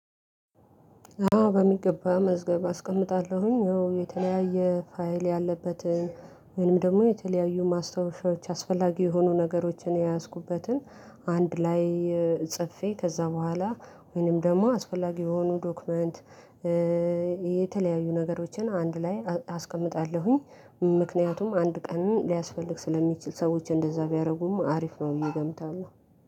አዎ በሚገባ መዝገብ አስቀምጣለሁኝ ያው የተለያየ ፋይል ያለበት ወይንም ደግሞ የተለያዩ ማስታወሻዎች አስፈላጊ የሆኑ ነገሮችን የያዝኩበትን። አንድ ላይ እ ጽፌ ከዛ በኋላ ወይንም ደግሞ አስፈላጊ የሆኑ ዶክመንት እ የተለያዩ ነገሮችን አንድ ላይ አ አስቀምጣለሁኝ። ም ምክንያቱም አንድ ቀን ሊያስፈልግ ስለሚችል ሰዎች እንደዛ ቢያርጉም አሪፍ ነው ብየ እገምታለሁ።